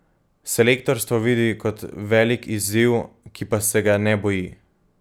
Selektorstvo vidi kot velik izziv, ki pa se ga ne boji.